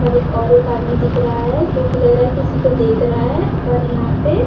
और एक आदमी दिख रहा है जो की लग रहा है किसी को देख रहा है और यहां पे --